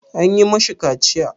An yi ma shi kaciya?